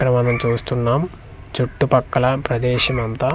ఇక్కడ మనం చూస్తునం చుట్టూ పక్కల ప్రదేశం అంత.